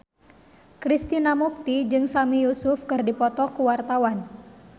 Krishna Mukti jeung Sami Yusuf keur dipoto ku wartawan